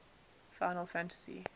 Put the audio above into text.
final fantasy